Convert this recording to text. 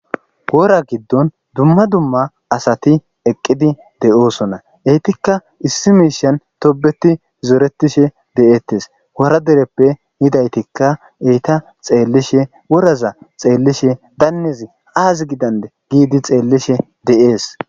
wora giddon dumma dumma asati eqqidi de7oosona eytikka issi miishian tobeti zoretishe de7eettes wora dereppe yidaytikka eyta xeellishe woraza xeellishe dannezi aazi gidanne giidi xeellishe deees